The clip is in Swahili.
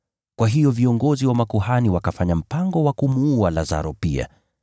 Kwa hiyo viongozi wa makuhani wakafanya mpango wa kumuua Lazaro pia,